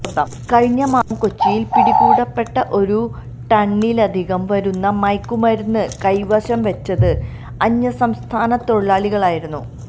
കഴിഞ്ഞ മാസം കൊച്ചിയില് പിടികൂടപ്പെട്ട ഒരു ടണ്ണിലധികം വരുന്ന മയക്കുമരുന്ന് കൈവശം വെച്ചത് അന്യസംസ്ഥാന തൊഴിലാളികളായിരുന്നു